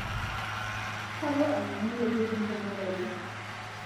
Kalo ainyang'u ntokitin tenairobi